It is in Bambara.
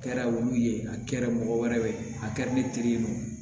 A kɛra wulu ye a kɛra mɔgɔ wɛrɛ ye a kɛra ne teri ye